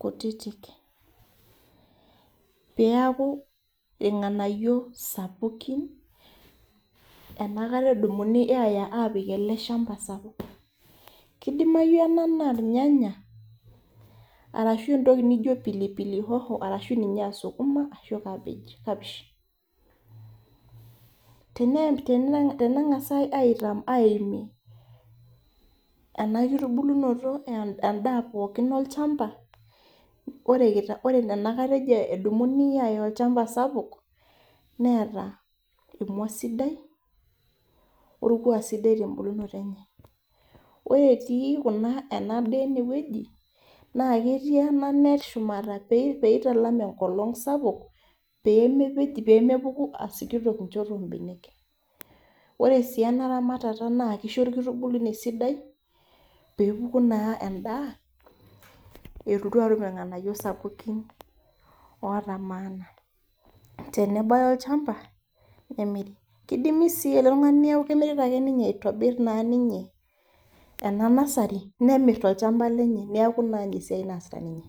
kutitik. Peaku irng'anayio sapukin, enakata edumuni aya apik ele shamba sapuk. Kidimayu ena naa irnyanya, arashu entoki nijo pilipili hoho arashu ninye asukuma arashu cabbage kapishi. Teneng'asai aimie ena kitubulunoto endaa pookin olchamba, ore enakata ejo edumuni aya olchamba sapuk, neeta emua sidai, orkuak sidai tebulunoto enye. Ore si kuna enadaa enewueji, na ketii ena net peitalam enkolong sapuk, pemepej pemepuku asikitok enchoto obenek. Ore si ena ramatata na kisho orkitubulunyei sidai, pepuku naa endaa, elotu atum irng'anayio sapukin ota maana. Tenebaya olchamba, kidimi si ele tung'ani kimirita ake ninye aitobir naa ninye ena nasari, nemir tolchamba lenye, neeku naa inesiai naasita ninye.